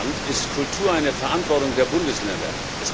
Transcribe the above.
In meinem Land ist Kultur eine Verantwortung der Bundesländer.